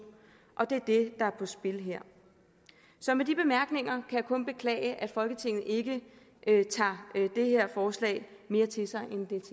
og det er det der er på spil her så med de bemærkninger kan jeg kun beklage at folketinget ikke tager det her forslag mere til sig